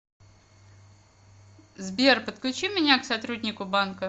сбер подключи меня к сотруднику банка